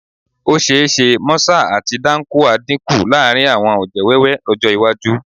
Ó ṣe é ṣe mọ́sà àti dáńkúà dínkù láàrin àwọn ọ̀jẹ̀ wẹ́wẹ́ lọ́jọ́ iwájú